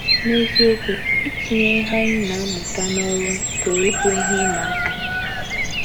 N’eziokwu, itinye ihe anyị na - amụta n’ọrụ pụrụ ịbụ ihe ịma aka.